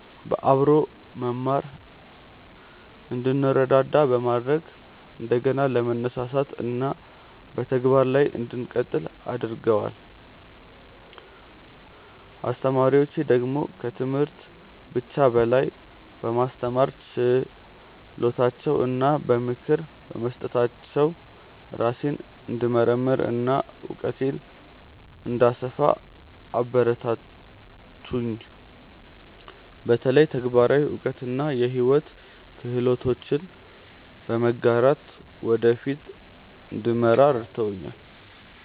በአብሮ መማር እንድንረዳዳ በማድረግ እንደገና ለመነሳሳት እና በተግባር ላይ እንድቀጥል አግርገደዋል። አስተማሪዎቼ ደግሞ ከትምህርት ብቻ በላይ በማስተማር ችሎታቸው እና በምክር በመስጠታቸው ራሴን እንድመርምር እና እውቀቴን እንድሰፋ አበረታቱኝ፤ በተለይ ተግባራዊ እውቀት እና የሕይወት ክህሎቶችን በመጋራት ወደ ፊት እንድመራ ረድተውኛል።